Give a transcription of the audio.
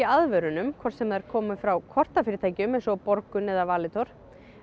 aðvörunum hvort sem þær koma frá kortafyrirtækjum eins og Borgun eða Valitor